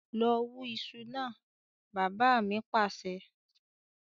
"lọ wù iṣu náà" bàbá mi Pàṣẹ.